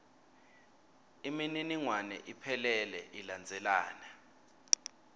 imininingwane iphelele ilandzelana